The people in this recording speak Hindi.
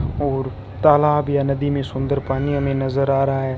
और तालाब या नदी में सुंदर पानी हमें नजर आ रहा है।